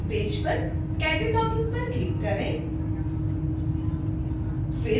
homepage पर cataloging पर click करें